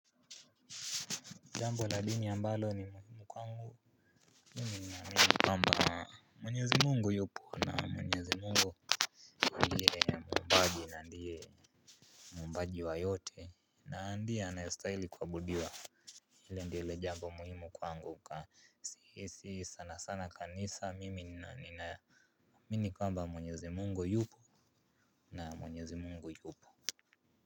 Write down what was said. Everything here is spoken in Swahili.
Jambo la dini ambalo ni muhimu kwangu, mimi nina amini kwamba mwenyezi Mungu yupo na mwenyezi Mungu Muumbaji na ndiye muumbaji wa yote na ndiye anayestahili kuabudiwa. Hilo ndilo jambo muhimu kwangu kwa sihisi sana sana kanisa mimi nina amini kwamba mwenyezi Mungu yupo na mwenyezi Mungu yupo.